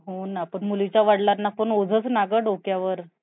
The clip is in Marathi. एकूण बघितला गेला तर मे अं maid